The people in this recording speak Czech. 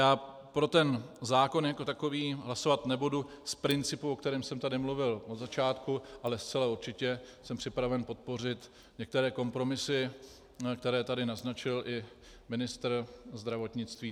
Já pro ten zákon jako takový hlasovat nebudu z principu, o kterém jsem tady mluvil od začátku, ale zcela určitě jsem připraven podpořit některé kompromisy, které tady naznačil i ministr zdravotnictví.